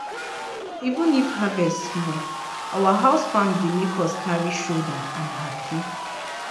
even if harvest small our house farm dey make us carry shouder and happy.